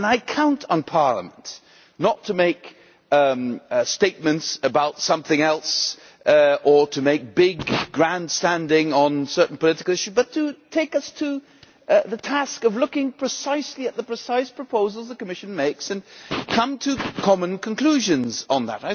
I count on Parliament not to make statements about something else or to make big grandstanding gestures on certain political issues, but to take us to the task of looking precisely at the precise proposals the Commission makes, and come to common conclusions on that.